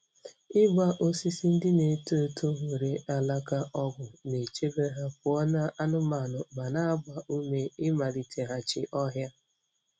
Ịgba osisi ndị na-eto eto nwere alaka ogwu na-echebe ha pụọ na anụmanụ ma na-agba ume ịmaliteghachi ọhịa.